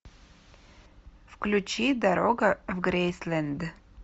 включи дорога в грейсленд